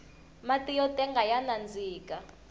mati yo tenga ya nandzika